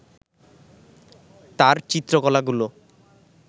তাঁর চিত্রকলাগুলো